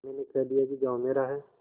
मैंने कह दिया कि गॉँव मेरा है